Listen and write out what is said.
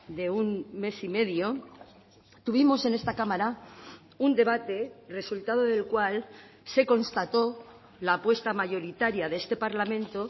de un mes y medio tuvimos en esta cámara un debate resultado del cual se constató la apuesta mayoritaria de este parlamento